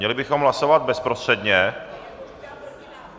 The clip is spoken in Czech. Měli bychom hlasovat bezprostředně.